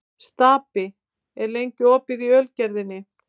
Stapi, hvað er lengi opið í Ölgerðinni?